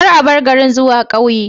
Kar a bar garin zuwa ƙauye